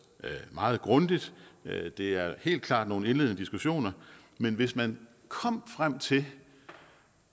meget grundigt det er helt klart nogle indledende diskussioner men hvis man kom frem til